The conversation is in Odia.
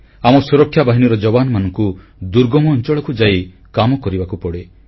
ଆମ ସୁରକ୍ଷାବାହିନୀର ଯବାନମାନଙ୍କୁ ଦୁର୍ଗମ ଅଂଚଳକୁ ଯାଇ କାମ କରିବାକୁ ପଡ଼େ